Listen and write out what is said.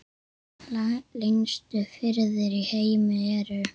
Lengstu firðir í heimi eru